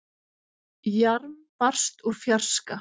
Jarm barst úr fjarska.